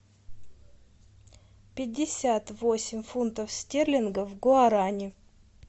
пятьдесят восемь фунтов стерлингов в гуарани